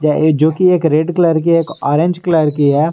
जो कि एक रेड कलर की एक ऑरेंज कलर की है।